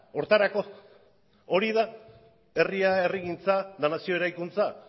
horretarako hori da herria herrigintza eta nazio eraikuntza